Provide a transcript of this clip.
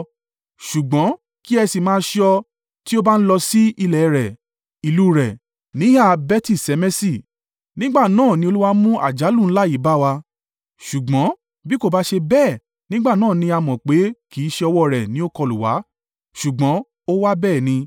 ṣùgbọ́n kí ẹ sì máa ṣọ́ ọ. Tí ó bá ń lọ sí ilẹ̀ rẹ̀, ìlú rẹ̀, níhà Beti-Ṣemeṣi. Nígbà náà ni Olúwa mú àjálù ńlá yìí bá wa. Ṣùgbọ́n bí kò bá ṣe bẹ́ẹ̀ nígbà náà ni a mọ̀ pé kì í ṣe ọwọ́ rẹ̀ ni ó kọlù wá, ṣùgbọ́n ó wá bẹ́ẹ̀ ni.”